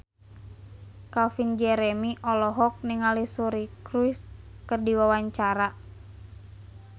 Calvin Jeremy olohok ningali Suri Cruise keur diwawancara